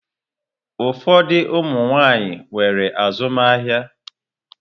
Ụfọdụ ụmụ nwaanyị nwere azụmahịa.